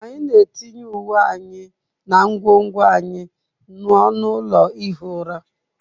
Anyị na-etinye uwe anyị na ngwongwo anyị n'ọnụ ụlọ ihi ụra.